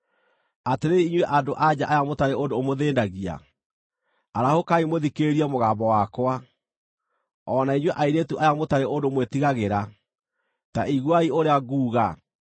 Atĩrĩrĩ inyuĩ andũ-a-nja aya mũtarĩ ũndũ ũmũthĩĩnagia, arahũkai mũthikĩrĩrie mũgambo wakwa; o na inyuĩ airĩtu aya mũtarĩ ũndũ mwĩtigagĩra, ta iguai ũrĩa nguuga!